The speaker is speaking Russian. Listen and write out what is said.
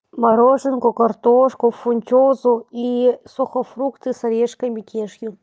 мороженку картошку фунчозу и сухофрукты с орешками кешью